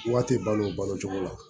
Wari tɛ balo balo cogo la